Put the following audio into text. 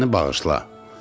Məni bağışla.